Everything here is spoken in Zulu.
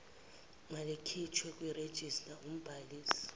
malikhishwe kwirejista umbhalisi